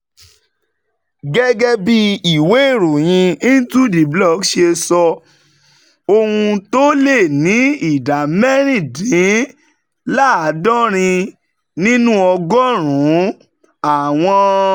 Gẹ́gẹ́ bí ìwé ìròyìn IntoTheBlock ṣe sọ, ohun tó lé ní ìdá mẹ́rìndínláàádọ́rin nínú ọgọ́rùn-ún àwọn